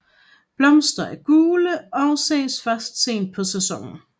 Blomsterne er gule og ses først sent på sæsonen